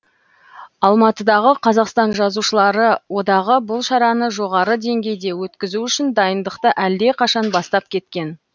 алматыдағы қазақстан жазушылары одағы бұл шараны жоғары деңгейде өткізу үшін дайындықты әлдеқашан бастап кеткен